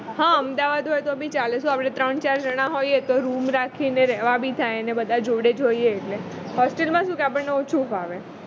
હા અમદાવાદ હોય તો બી ચાલે શું આપણે ત્રણ ચાર જણા હોઈએ તો room રાખીને રહેવા બી થાય ને બધા જોડે જોડે હોઈએ hostel માં શું કે આપણને ઓછું ફાવે